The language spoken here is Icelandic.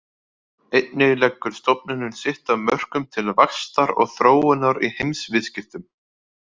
Einnig leggur stofnunin sitt af mörkum til vaxtar og þróunar í heimsviðskiptum.